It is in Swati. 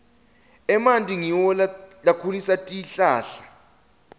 emanti ngiwo lakhulisa tihlahla